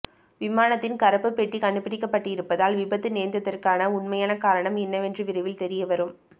விமானத்தின் கருப்பு பெட்டி கண்டுபிடிக்கப்பட்டிருப்பதால் விபத்து நேர்ந்ததற்கான உண்மையான காரணம் என்னவென்று விரைவில் தெரியவரும்